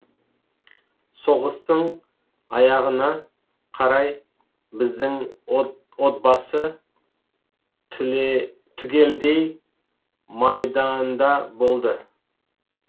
соғыстың аяғына қарай біздің отбасы түгелдей майданда болды